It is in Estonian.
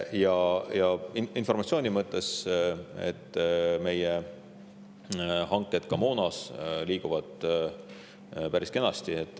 Ja veel informatsiooni mõttes: meie moonahanked liiguvad päris kenasti.